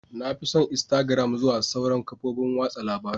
Na fi son instagram zuwa sauran kafofin watsa labarun.